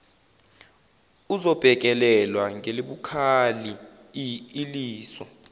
izobhekelelwa ngelibukhali iliso